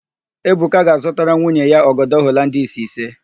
Ebuka ga-azụtara nwunye ya ọgọdọ Holandis ise.